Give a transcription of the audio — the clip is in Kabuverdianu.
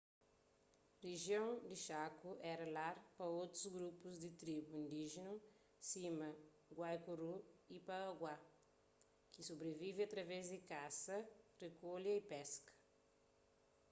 rijion di chaco éra lar pa otus grupus di tribu indíjenu sima guaycurú y payaguá ki sobrivive através di kasa rikolha y peska